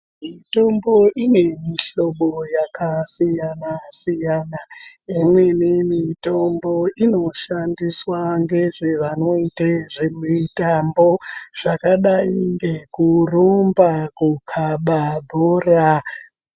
Mitombo ine mihlobo yakasiyana-siyana, imweni mitombo inoshandiswa ngezvevanoite zvemitambo, zvakadai ngekurumba kukhaba bhora.